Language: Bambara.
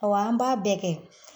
Awɔ an b'a bɛɛ kɛ